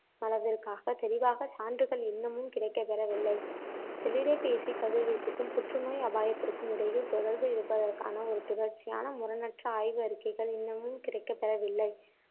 அளவிற்காக தெளிவான சான்றுகள் இன்னமும் கிடைக்கப்பெறவில்லை செல்லிடப்பேசி கதிர்வீச்சுக்கும், புற்றுநோய் அபாயத்திற்கும் இடையில் தொடர்பு இருப்பதற்கான ஒரு தொடர்ச்சியான, முரணற்ற ஆய்வு அறிக்கைகள் இன்னமும் கிடைக்கப்பெறவில்லை